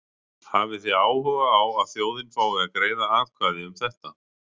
Hafið þið áhuga á að þjóðin fái að greiða atkvæði um þetta?